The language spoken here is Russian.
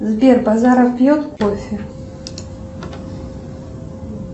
сбер базаров пьет кофе